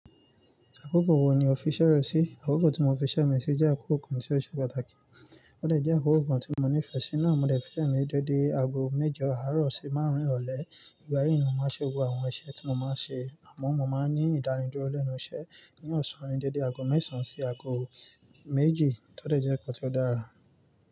Àkókò wo ni o fiṣẹ́ rẹ sí? Àkókò tí mo fiṣẹ́ mi sí jẹ́ àkókò kan tí ó ṣe pàtàkì, ó dẹ́ jẹ́ àkókò kan tí mo nífẹ̀ẹ́ sí náà. Mo dẹ̀ fi iṣẹ mi si dédé aago mẹ́jọ àárọ̀ sí márùn-ún ìrọ̀lẹ́. Ìgbà yí ni mo máa ń ṣe gbogbo àwọn iṣẹ́ tí mo máa ń ṣe àmọ́ mo máa ń ní ìdáni dúró lẹ́nu iṣẹ́ ní ọ̀sán ni dédé aago mẹ́sàn án sí aago méjì. Ó dẹ̀ jẹ́ nǹkan tí ó dára.